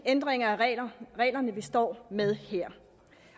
ændringer af reglerne vi står med her